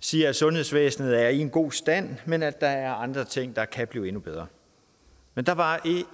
siger at sundhedsvæsenet er i en god stand men at der er andre ting der kan blive endnu bedre men der var